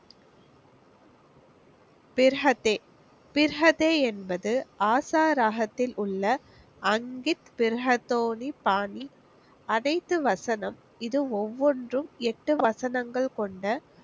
பிர்கதே, பிர்கதே என்பது ஆசா ராகத்திலுள்ள அங்கித் பிர்கதோணி பாணி. அனைத்து வசனம் இது ஒவ்வொன்றும் எட்டு வசனங்கள் கொண்ட